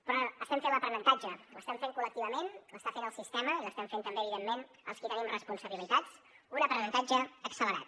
però estem fent l’aprenentatge l’estem fent col·lectivament l’està fent el sistema i l’estem fent també evidentment els qui tenim responsabilitats un aprenentatge accelerat